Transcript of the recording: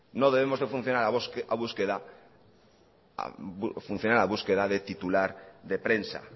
no debemos de funcionar a búsqueda de titular de prensa